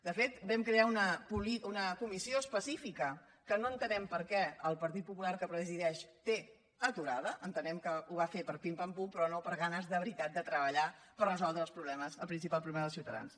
de fet vam crear una comissió específica que no entenem per què el partit popular que la presideix té aturada entenem que ho va fer per pim pam pum però no per ganes de veritat de treballar per resoldre els problemes el principal problema dels ciutadans